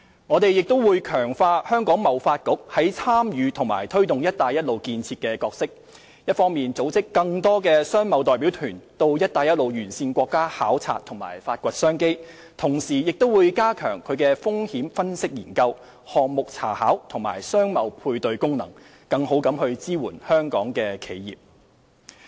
我們亦會強化香港貿易發展局在參與及推動"一帶一路"建設的角色，一方面組織更多商貿代表團到"一帶一路"沿線國家考察和發掘商機，同時加強其風險分析研究、項目查考和商貿配對功能，更好地支援香港的企業。